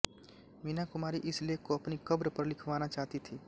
मीना कुमारी इस लेख को अपनी कब्र पर लिखवाना चाहती थीं